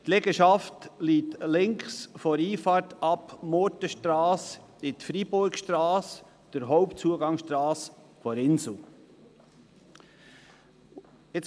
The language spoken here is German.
Die Liegenschaft liegt links von der Einfahrt Murtenstrasse in die Freiburgstrasse, an der Hauptzugangsstrasse zum Inselspital.